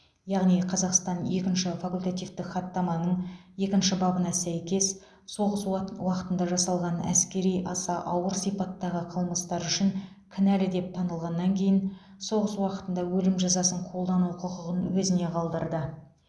яғни қазақстан екінші факультативтік хаттаманың екінші бабына сәйкес соғыс уақытында жасалған әскери аса ауыр сипаттағы қылмыстар үшін кінәлі деп танылғаннан кейін соғыс уақытында өлім жазасын қолдану құқығын өзіне қалдырды